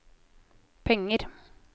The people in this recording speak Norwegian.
penger